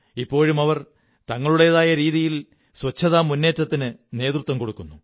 ഇപ്പോഴും അവർ തങ്ങളുടേതായ രീതിയിൽ ശുചിത്വ മുന്നേറ്റത്തിന് നേതൃത്വം കൊടുക്കുന്നു